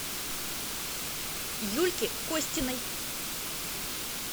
юльки костиной